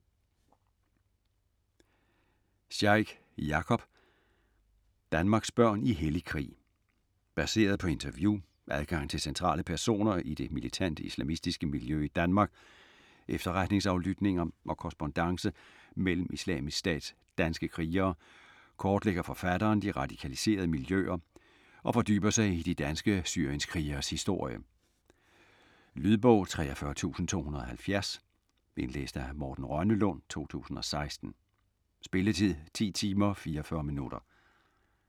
Sheikh, Jakob: Danmarks børn i hellig krig Baseret på interview, adgang til centrale personer i det militante islamistiske miljø i Danmark, efterretningsaflytninger og korrespondance mellem Islamisk Stats danske krigere, kortlægger forfatteren de radikaliserede miljøer og fordyber sig i de danske syrienskrigeres historie. Lydbog 43270 Indlæst af Morten Rønnelund, 2016. Spilletid: 10 timer, 44 minutter.